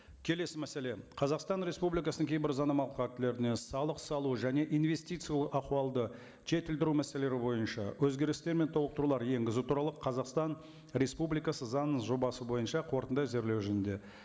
келесі мәселе қазақстан республикасының кейбір заңнамалық актілеріне салық салу және инвестиция ахуалды жетілдіру мәселелері бойынша өзгерістер мен толықтырулар енгізу туралы қазақстан республикасы заңының жобасы бойынша қорытынды әзірлеу жөнінде